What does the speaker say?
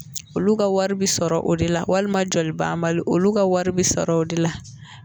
Olu ka wari bi sɔrɔ o de la walima joli banbali olu ka wari bi sɔrɔ o de la